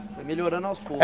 Foi melhorando aos poucos.